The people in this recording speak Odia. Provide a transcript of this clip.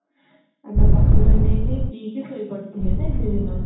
ଆମେ କଫି ବନେଇଲେ ପିଇକି ଶୋଇ ପଡିଥିଲେ ନାଇଁ ସେଦିନ